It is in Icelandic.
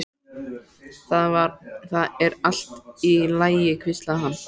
Það er allt í lagi hvíslaði hann.